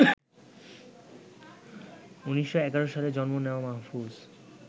১৯১১ সালে জন্ম নেওয়া মাহফুজ